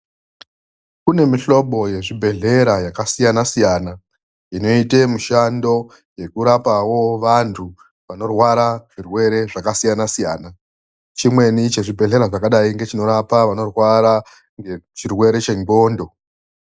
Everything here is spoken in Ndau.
Kune mihlobo yezvibhedhlera yakasiyana siyana inoite mishando yekurapawo vanthu vanorwara zvirwere zvakasiyana siyana, chimweni chezvibhedhlera zvakadai ngechinorapa vanorwara ngechirwere chendxondo.